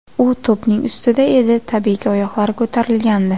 U to‘pning ustida edi, tabiiyki, oyoqlari ko‘tarilgandi.